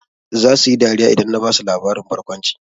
Zasu yi dariya idan na basu labarin barkwanci.